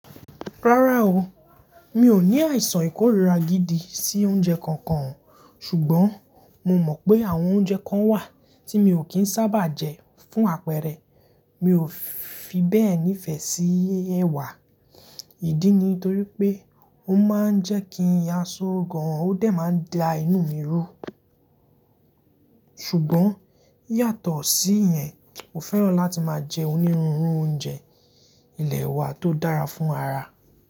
Rárá o, mi ò ní àìsàn ìkóríra gidi sí oúnjẹ kankan. Ṣùgbọ́n mo mọ̀ pé àwọn oúnjẹ kan wà tí mi ò kí ń sábà jẹ fún àpẹẹrẹ, mi ò fi bẹ́ẹ̀ nífẹ̀ẹ́ sí ẹwà. Ìdí ni torí pé ó máa ń jẹ́ kí iyan só gan, ó dẹ̀ máa ń da inú mi rú. Ṣùgbọ́n yàtọ̀ sí ìyẹn, mo fẹ́ràn láti máa jẹ onírúurú oúnjẹ ilẹ̀ wa tó dára fún ara.